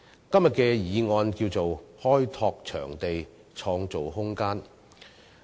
今天的議案名為"開拓場地，創造空間"。